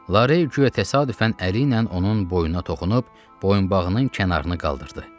Larey guya təsadüfən əli ilə onun boynuna toxunub boyunbağının kənarını qaldırdı.